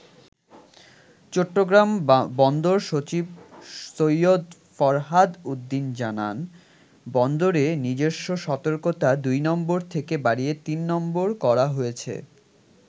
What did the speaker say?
চট্টগ্রাম বন্দর সচিব সৈয়দ ফরহাদ উদ্দিন জানান, বন্দরে নিজস্ব সতর্কতা ২ নম্বর থেকে বাড়িয়ে ৩ নম্বর করা হয়েছে।